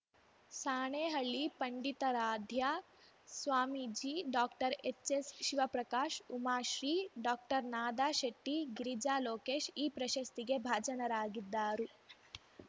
Sanehalli Panditaradhya Swamiji doctor H S Shivaprakash Umashree doctor Nada Shetty Girija Lokesh ಈ ಪ್ರಶಸ್ತಿಗೆ ಭಾಜನರಾಗಿದ್ದಾರು